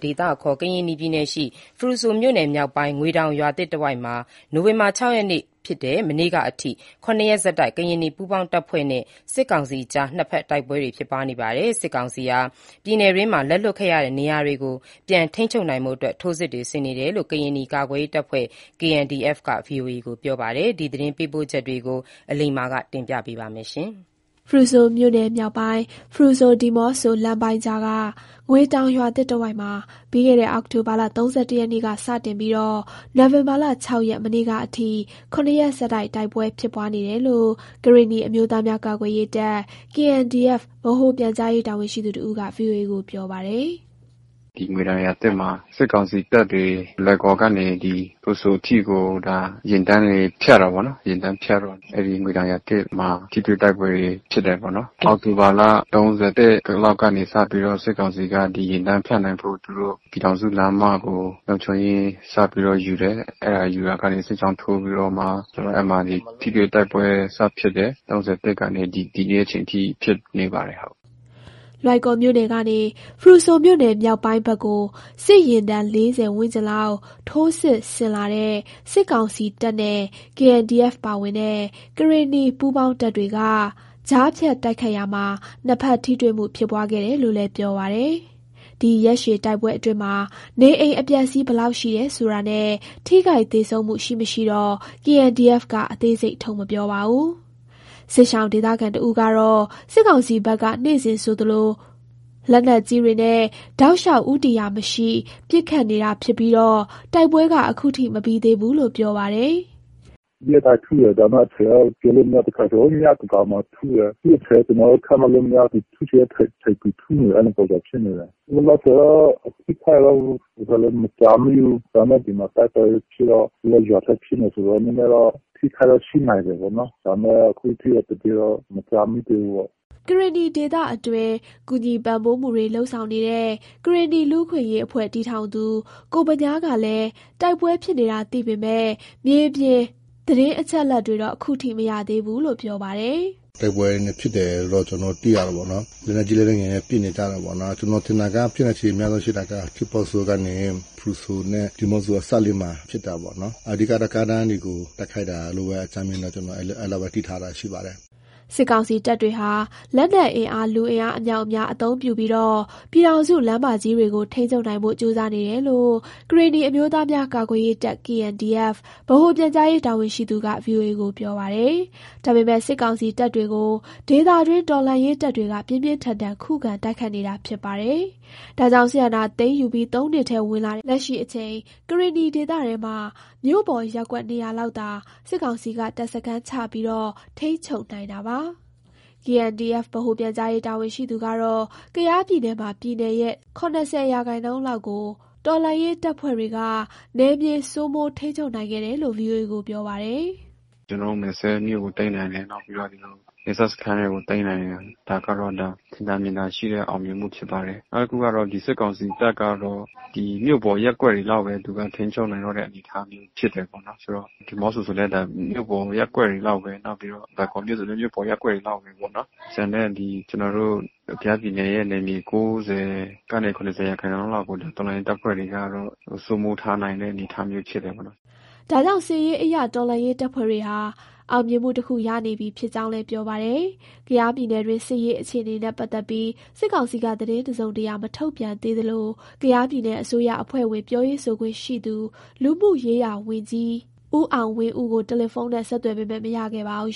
ဒေသအခေါ် ကရင်နီပြည်နယ် ဖရူဆိုမြို့နယ်မြောက်ပိုင်း ငွေတောင်ရွာသစ်တဝိုက်မှာ နိုဝင်ဘာ ၆ ရက် မနေ့ကအထိ ၇ ရက်ဆက်တိုက် ကရင်နီပူးပေါင်းတပ်ဖွဲ့ နဲ့ စစ်ကောင်စီအကြား နှစ်ဖက်တိုက်ပွဲ တွေ ဖြစ်ပွားနေပါတယ်။ စစ်ကောင်စီက ပြည်နယ်တွင်းက လက်လွှတ်ခဲ့ရတဲ့ နေရာတွေကို ပြန်ထိန်းချုပ် နိုင်ဖို့ ထိုးစစ်ဆင်နေတယ်လို့ ကရင်နီကာကွယ်ရေး တပ်ဖွဲ့ KNDF က ဗွီအိုအေကို ပြောပါတယ်။ ဒီသတင်းပေးပို့ချက်ကို အလိမ္မာက တင်ပြသွားမှာပါ။ ဖရူဆိုမြို့နယ်မြောက်ပိုင်း ဖရူဆို-ဒီးမော့ဆို လမ်းပိုင်းကြားက ငွေတောင်ရွာသစ် တဝိုက်မှာ ပြီးခဲ့တဲ့ အောက်တိုဘာလ ၃၁ ရက်နေ့ စတင်ပြီး နိုဝင်ဘာလ ၆ ရက် မနေ့ကအထိ ၇ ရက် ဆက်တိုက် တိုက်ပွဲဖြစ်ပွားနေတယ်လို့ ကရင်နီအမျိုးသားများ ကာကွယ်ရေးတပ် ဗဟိုပြန်ကြားရေး တာဝန်ရှိသူတဦးက ဗွီအိုအေကို ပြောပါတယ်။ “ ဒီငွေတောင်ရွာသစ်မှာ စစ်ကောင်စီတပ်တွေ လွိုင်ကော်ကနေ ဖရူဆိုအထိကို ယာဉ်တန်းတွေ ဖြတ်တယ်ပေါ့နော်။ ယာဉ်ဖြတ်တော့ အဲ့ဒီငွေတောင်ရွာသစ်မှာ ထိတွေ့တိုက်ပွဲဖြစ်တယ်ပေါ့နော်။ အောက်တိုဘာလ ၃၁ လောက်ကနေ စပြီးတော့ စစ်ကောင်စီက ဒီယာဉ်တန်းဖြတ်နိုင်ဖို့ သူတို့ ပြည်ထောင်စု လမ်းမကို လုံခြုံရေးစပြီးတော့ ယူတယ်။ ယူလာရာကနေ စစ်ကြောင်းထိုးပြီးတော့မှ ဆိုတော့ အဲ့မှာ ထိတွေ့တိုက်ပွဲစဖြစ်တယ်။ ၃၁ ကနေ ဒီနေ့ အချိန်ထိ ဖြစ်နေတယ်ဟုတ်။” လွိုင်ကော်မြို့နယ်ကနေ ဖရူဆိုမြို့နယ်မြောက်ပိုင်းဖက်ကို စစ်ယာဉ်တန်း ၄၀ ဝန်းကျင်လောက် ထိုးစစ်ဆင်လာတဲ့ စစ်ကောင်စီတပ်နဲ့ KNDF ပါဝင်တဲ့ ကရင်နီပူးပေါင်းတပ်တွေက ကြားဖြတ် တိုက်ခိုက်ရာ နှစ်ဖက်ထိတွေ့မှု ဖြစ်ပွားခဲ့တယ်လို့လည်း ပြောပါတယ်။ ဒီရက်ရှည်တိုက်ပွဲအတွင်းမှာ နေအိမ်အပျက်အစီး ဘယ်လောက်ရှိတယ် ဆိုတာနဲ့ ထိခိုက်သေဆုံးမှု ရှိမရှိတော့ KNDF က အသေးစိတ် ထုတ် မပြောပါဘူး။ စစ်ရှောင် ဒေသခံတဦးကတော့ စစ်ကောင်စီဘက်က နေ့စဉ်ဆိုသလို လက်နက်ကြီးတွေနဲ့ တောက်လျှောက် ဦးတည်ရာမရှိ ပစ်ခတ်နေတာ ဖြစ်ပြီး တိုက်ပွဲက ခုထိ မပြီးသေးဘူးလို့ ပြောပါတယ်။ “ရက်တိုင်းထုတယ်။ ဒါပေမယ့် အချိန်တော့ ပြောလို့မရဘူး၊ တစ်ခါကျရင် ညသန်းခေါင်းမှာ ထုလာတယ်။ သူ့အချိန်ကျနော်တို့ ခန့်မှန်းလို့မရဘူး၊ သူထုချင်တဲ့ အချိန်သူ ထုနေတယ်၊ အဲ့လိုပုံစံဖြစ်နေတယ်။ လောလောဆယ်တော့ အထိအခိုက်တော့ မကြားမိသေးဘူူး။ ဒါပေမယ့် ဒီမှာ တိုက်ပွဲဖြစ်တော့ သူတို့က ရွာထဲဖြစ်နေတယ်ဆိုတော့ နည်းနည်းတော့ အထိအခိုက်တော့ ရှိနိုင်တယ်ပေါ့နော်။ ဒါပေမယ့် အခုထိတော့ သတင်းတော့ မကြားမိသေးဘူးပေါ့။” ကရင်နီဒေသအတွင်း ကူညီပံ့ပိုးမှုတွေ လုပ်ဆောင်နေတဲ့ ကရင်နီလူ့အခွင့်အရေး အဖွဲ့ တည်ထောင် ကိုဗညားကလည်း တိုက်ပွဲဖြစ်နေတာ သိပေမယ့် မြေပြင်သတင်းအချက်အလက်တွေတော့ ခုထိမသိရသေးဘူးလို့ ပြောပါတယ်။ “တိုက်ပွဲဖြစ်တယ်လို့ ကျနော်တို့ သိရတယ်ပေါ့နော်။ လက်နက်ကြီးလက်နက်ငယ်နဲ့ ပစ်နေကြတာပေါ့နော်။ ကျနော်ထင်တာက ဖြစ်နိုင်ချေများဆုံးရှိတာက ထီးပေါဆိုကနေ ဖရူဆိုနဲ့ ဒီမော့ဆိုအစပ်လေးမှာ ဖြစ်တာပေ့ါနော်။ အဓိက ကားလမ်းတွေကို တိုက်ခိုက်တာလို့ပဲ အကြမ်းမျဉ်းပဲ ကျနော်အဲ့လောက်ပဲ သိထားတာရှိပါတယ်။” စစ်ကောင်စီတပ်တွေဟာ လက်နက်အင်အား လူအင်အားအမြောက်အများ အသုံးပြုပြီး ပြည်ထောင်စု လမ်းမကြီးတွေကို ထိန်းချုပ်နိုင်ဖို့ ကြိုးစားနေတယ်လို့ ကရင်နီအမျိုးသားများ ကာကွယ်ရေးတပ် ဗဟိုပြန်ကြားရေးတာဝန်ရှိသူက ဗွီအိုအေကို ပြောပါတယ်။ ဒါပေမယ့် စစ်ကောင်စီ တပ်တွေကို ဒေသတွင်း တော်လှန်ရေးတပ်တွေက ပြင်းပြင်းထန်ထန် ခုခံ တိုက်ခိုက်နေတာ ဖြစ်ပါတယ်။ ဒါကြောင့် စစ်အာဏာသိမ်းယူပြီး ၃နှစ်ထဲ ဝင်လာတဲ့ လက်ရှိအချိန် ကရင်နီဒေသထဲမှာ မြို့ပေါ်ရပ်ကွက် နေရာလောက်သာ စစ်ကောင်စီက တပ်စခန်းချပြီး ထိန်းချုပ်နိုင်တာပါ။ KNDF ဗဟိုပြန်ကြားရေးတာဝန်ရှိသူက တော့ ကယားပြည်နယ်မှာ ပြည်နယ်ရဲ့ ၇၀ ရာခိုင်နှုန်း လောက်ကို တော်လှန်ရေးတပ်ဖွဲ့တွေက နယ်မြေ စိုးမိုးထိန်းချုပ်နိုင်ခဲ့တယ်လို့ ဗွီအိုအေကို ပြော ပါတယ်။ “ကျနော်တို့ မယ်စဲ့မြို့ကို သိမ်းနိုင်တယ်။ နောက်ပြီးတော့ နယ်စပ်စခန်းတွေကို သိမ်းနိုင်တယ်။ ဒါကတော့ ထင်သာမြင်သာရှိတဲ့ အောင်မြင်မှုဖြစ်ပါတယ်။ နောက်တခုကတော့ စစ်ကောင်စီတပ်ကတော့ ဒီမြို့ပေါ်ရပ်ကွက်တွေလောက်ပဲ သူက ထိန်းချုပ်နိုင်တယ် အနေအထားမျိုး ဖြစ်တယ်ပေါ့နော်။ ဆိုတော့ ဒီးမော့ဆိုလည်း မြို့ပေါ်ရပ်ကွက်တွေ လောက်ပဲ။ နောက်ပြီးတော့ လွိုင်ကော်မြို့ဆိုလည်း မြို့ပေါ်ရပ်ကွက်တွေ လောက်ပဲပေါ့နော်။ ကျန်တဲ့ ကျနော်တို့ ကယားပြည်နယ်ရဲ့ နယ်မြေ ၉၀ ကနေ ၇၀ ရာခိုင်နှုန်းလောက်ကို တော်လှန်ရေးတပ်ဖွဲ့တွေက စိုးမိုးထားနိုင်တဲ့ အနေအထား မျိုးဖြစ်တယ်ပေါ့နော်။” ဒါကြောင့် စစ်ရေးအရ တော်လှန်ရေးတပ်ဖွဲ့တွေဟာ အောင်မြင်မှုတခု ရနေပြီ ဖြစ်ကြောင်းလည်း ပြောပါတယ်။ ကယားပြည်နယ်တွင်း စစ်ရေး အခြေနေနဲ့ ပတ်သက်ပြီး စစ်ကောင်စီက သတင်းတစုံတရာ မထုတ်ပြန်သေးသလို ကယားပြည်နယ် အစိုးရအဖွဲ့ဝင် ပြောရေးဆိုခွင့်ရှိသူ လူမှုရေးရာဝန်ကြီး ဦးအောင်ဝင်းဦးကို တယ်လီဖုန်းနဲ့ ဆက်သွယ်ပေမယ့် မရခဲ့ပါဘူး